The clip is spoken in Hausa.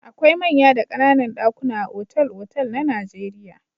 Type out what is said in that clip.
Akwai manya da ƙananan ɗakuna a otal-otal na Najeriya.